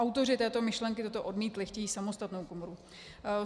Autoři této myšlenky toto odmítli, chtějí samostatnou komoru.